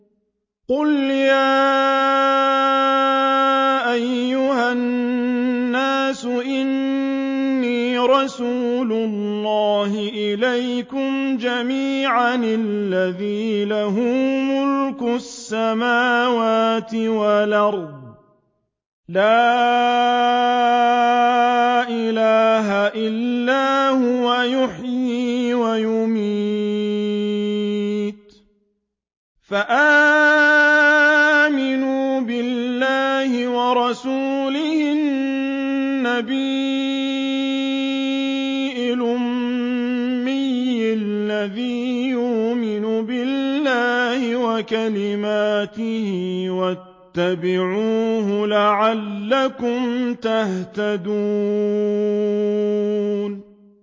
قُلْ يَا أَيُّهَا النَّاسُ إِنِّي رَسُولُ اللَّهِ إِلَيْكُمْ جَمِيعًا الَّذِي لَهُ مُلْكُ السَّمَاوَاتِ وَالْأَرْضِ ۖ لَا إِلَٰهَ إِلَّا هُوَ يُحْيِي وَيُمِيتُ ۖ فَآمِنُوا بِاللَّهِ وَرَسُولِهِ النَّبِيِّ الْأُمِّيِّ الَّذِي يُؤْمِنُ بِاللَّهِ وَكَلِمَاتِهِ وَاتَّبِعُوهُ لَعَلَّكُمْ تَهْتَدُونَ